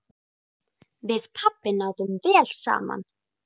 Við pabbi náðum vel saman.